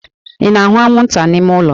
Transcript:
Ị na-ahụ anwụnta n'ime ụlọ?